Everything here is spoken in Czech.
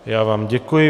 Já vám děkuji.